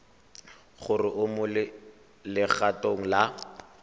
gore o mo legatong la